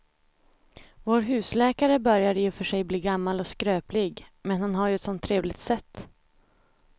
Vår husläkare börjar i och för sig bli gammal och skröplig, men han har ju ett sådant trevligt sätt!